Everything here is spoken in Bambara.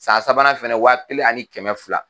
San sabanan fana wa kelen ani kɛmɛ fila.